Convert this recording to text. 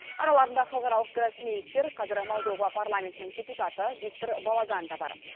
араларында халықаралық гроссмейстер қазір молдова парламентінің депутаты виктор бологан да бар